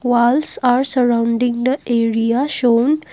walls are surrounding the area show--